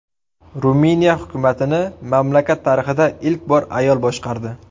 Ruminiya hukumatini mamlakat tarixida ilk bor ayol boshqardi.